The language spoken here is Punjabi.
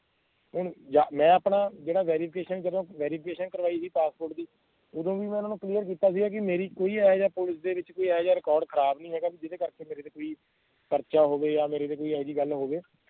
ਇਹ ਅਹ ਜਾਂ ਮੈਂ ਆਪਣਾ ਜਿਹੜਾ verification ਜਦੋਂ verification ਕਰਵਾਇ ਸੀ ਪਾਸਪੋਰਟ ਦੀ ਓਦੋਂ ਵੀ ਮੈਂ ਓਹਨਾ ਨੂੰ clear ਕਿੱਤਾ ਸੀਗਾ ਕਿ ਮੇਰੀ ਕੋਈ ਇਹੋ ਜੇਹਾ ਪੁਲਿਸ ਦੇ ਵਿਚ ਕੋਈ ਇਹੋ ਜੇਹਾ record ਖਰਾਬ ਨੀ ਹੈਗਾ ਵੀ ਜਿਹੜੇ ਕਰਕੇ ਮੇਰੇ ਤੇ ਕੋਈ ਪਰਚਾ ਹੋਵੇ ਜਾਂ ਮੇਰੇ ਤੇ ਕੋਈ ਇਹੋ ਜਿਹੀ ਗੱਲ ਹੋਵੇ